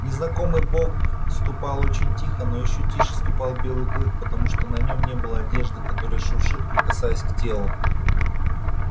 незнакомый бог ступал очень тихо но ещё тише ступал белый клык потому что на нем не было одежды которая шуршит прикасаясь к телу